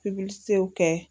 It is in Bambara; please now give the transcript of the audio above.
Pikisew kɛ